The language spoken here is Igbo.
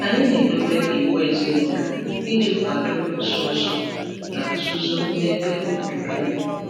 Anyị na-edobe iwu ezinụlọ iji kwado nso nso na nzuzo na ebe obibi anyị.